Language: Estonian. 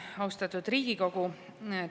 Austatud Riigikogu!